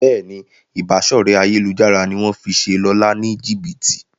Béèni Ìbáṣọ̀rẹ́ ayélujára ní wón fí ṣe Lọla ní jibiti.